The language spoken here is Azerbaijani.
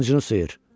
Qılıncını sıyır!